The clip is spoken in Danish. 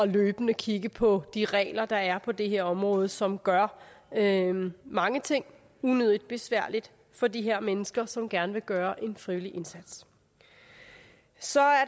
løbende at kigge på de regler der er på det her område som gør mange ting unødigt besværligt for de her mennesker som gerne vil gøre en frivillig indsats så er